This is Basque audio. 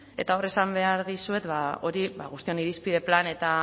eta hor esan behar dizuet hori guztion irizpide plan eta